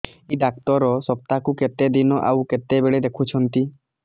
ଏଇ ଡ଼ାକ୍ତର ସପ୍ତାହକୁ କେତେଦିନ ଆଉ କେତେବେଳେ ଦେଖୁଛନ୍ତି